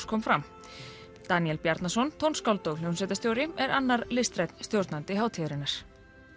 kom fram Daníel Bjarnason tónskáld og hljómsveitarstjóri er annar listrænn stjórnandi hátíðarinnar